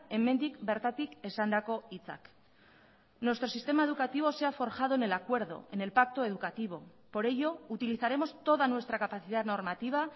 hemendik bertatik esandako hitzak nuestro sistema educativo se ha forjado en el acuerdo en el pacto educativo por ello utilizaremos toda nuestra capacidad normativa